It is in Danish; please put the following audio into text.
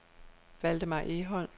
Valdemar Egholm